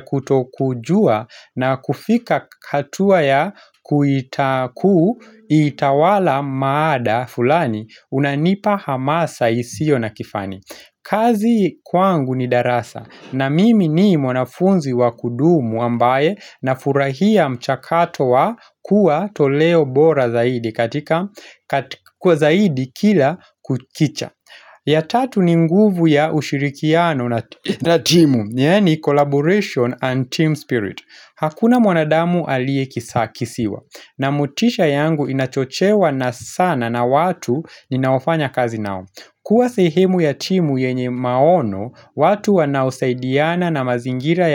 kutokujua na kufika hatua ya kuita kuu itawala mada fulani unanipa hamasa isio na kifani. Kazi kwangu ni darasa na mimi ni mwanafunzi wa kudumu ambaye nafurahia mchakato wa kuwa toleo bora zaidi katika kwa zaidi kila kukicha. Ya tatu, ni nguvu ya ushirikiano na timu yaani collaboration and team spirit. Hakuna mwanadamu alie kisakisiwa na motisha yangu inachochewa na sana na watu ninaofanya kazi nao. Kuwa sehemu ya timu yenye maono, watu wanaosaidiana na mazingira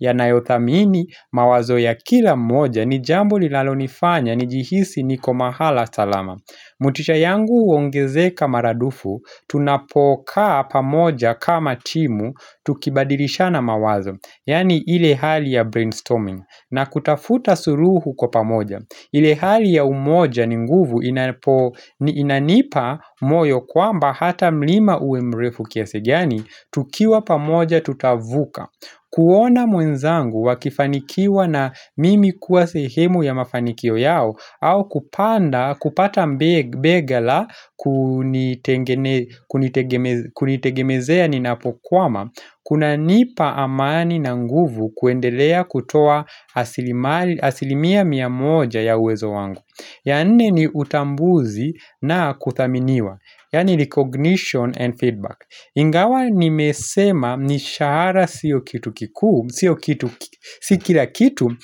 yanayothamini mawazo ya kila mmoja ni jambo linalonifanya nijihisi niko mahala salama. Motisha yangu huongezeka maradufu, tunapokaa pamoja kama timu tukibadilishana mawazo, yaani ile hali ya brainstorming, na kutafuta suluhu kwa pamoja. Ile hali ya umoja ni nguvu inanipa moyo kwamba hata mlima uwe mrefu kiasi gani, tukiwa pamoja tutavuka. Kuona mwenzangu akifanikiwa na mimi kuwa sehemu ya mafanikio yao au kupanda kupata bega la kunitegemezea ninapokwama, Kuna nipa amani na nguvu kuendelea kutoa asilimia mia moja ya uwezo wangu. Ya nne ni utambuzi na kuthaminiwa Yaani recognition and feedback Ingawa nimesema ni shahara sio kitu kikuu, Sio kitu, si kila kitu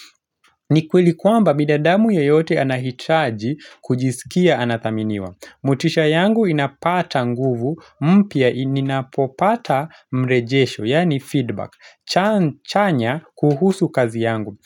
ni kweli kwamba bidadamu yoyote anahitaji kujisikia anathaminiwa motisha yangu inapata nguvu, mpya ninapopata mrejesho, yani feedback, chanya kuhusu kazi yangu.